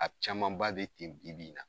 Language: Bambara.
A camanba be ten bi bi in na.